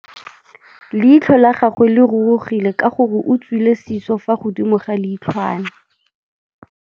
Leitlhô la gagwe le rurugile ka gore o tswile sisô fa godimo ga leitlhwana.